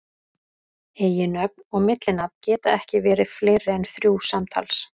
Eiginnöfn og millinafn geta ekki verið fleiri en þrjú samtals.